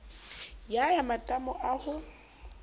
ya ya matamo a ho